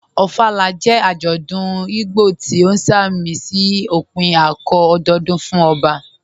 Ofala jẹ́ ajọ́dún Ìgbò tí o sàmísí ọ̀pìn ạ̀kọ̀ọ̀ ọ̀dọọ̀dún fún ọbà